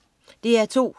DR2: